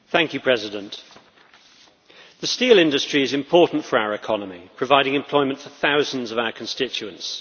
Mr President, the steel industry is important for our economy, providing employment for thousands of our constituents.